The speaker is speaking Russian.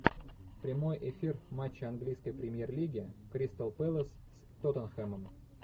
прямой эфир матча английской премьер лиги кристал пэлас с тоттенхэмом